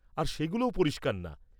আর সেগুলোও পরিষ্কার না।